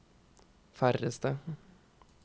færreste